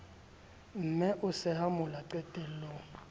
mme o sehe mola qetellong